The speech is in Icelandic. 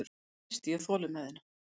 Þá missti ég þolinmæðina.